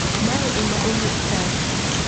Mae ema owuok Turkey